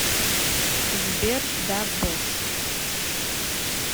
сбер да босс